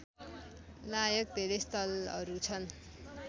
लायक धेरै स्थलहरू छन्